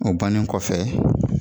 O banni kɔfɛ